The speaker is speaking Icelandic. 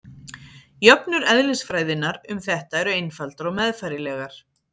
Jöfnur eðlisfræðinnar um þetta eru einfaldar og meðfærilegar.